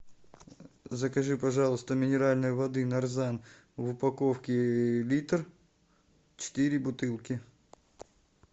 закажи пожалуйста минеральной воды нарзан в упаковке литр четыре бутылки